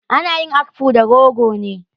Ana yin akpu da rogo ne.